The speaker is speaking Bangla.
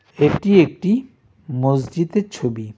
এটি একটি মসজিদের ছবি.